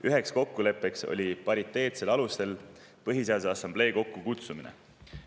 Üheks kokkuleppeks oli pariteetsel alusel Põhiseaduse Assamblee kokkukutsumine.